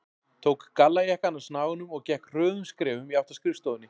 Tók gallajakkann af snaganum og gekk hröðum skrefum í átt að skrifstofunni.